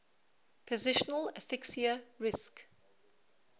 positional asphyxia risk